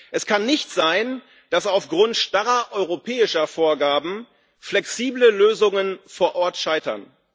Es kann nicht sein, dass aufgrund starrer europäischer Vorgaben flexible Lösungen vor Ort scheitern.